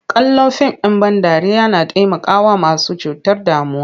Kallon fim ɗ in ban dariya na taimakawa masu cutar damuwa.